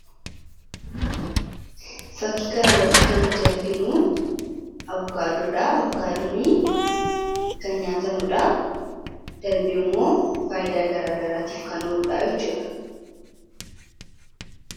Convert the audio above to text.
fakkii kanarratti kan nuti arginu abukaadoodha abukaadoonii kan nyaatamuudha darbii immoo faayidaa garaa garaatiif kanooluudhaa'ichuudha